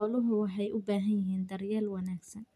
Xooluhu waxay u baahan yihiin daryeel wanaagsan.